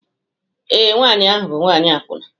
Ee, nwanyị ahụ bụ nwanyị akwụna